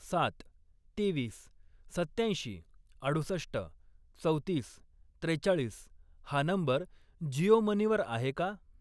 सात, तेवीस, सत्त्याऐंशी, अडुसष्ट, चौतीस, त्रेचाळीस हा नंबर जिओ मनी वर आहे का?